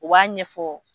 U b'a ɲɛfɔ